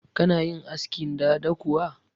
Kuna yin askin dada kuwa?